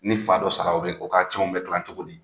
Ni fa dɔ sara o be o ka tiɲɛw bɛ tilan cogo di?